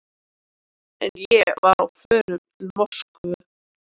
En ég var á förum til Moskvu.